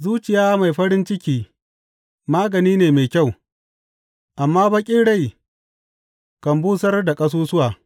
Zuciya mai farin ciki magani ne mai kyau, amma bakin rai kan busar da ƙasusuwa.